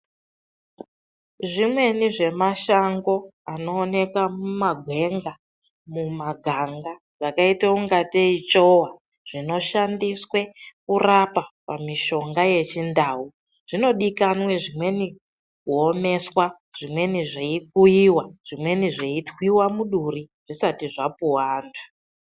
Zvimweni zvemashango anooneka mumagwenga, mumaganga zvakaita ungatei chowa zvinoshandiswe pakurapa pamishongabyechindau zvinodikanwe zvimweni kuomeswa, zvimweni zveikuiwa zvimweni zveitwiwe muduri zvisati zvapuwa antu.